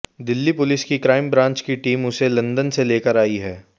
Delhi police की crime branch की team उसे लंदन से लेकर आई है